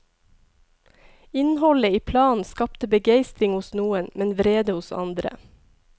Innholdet i planen skapte begeistring hos noen, men vrede hos andre.